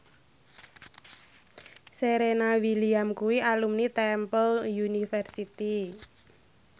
Serena Williams kuwi alumni Temple University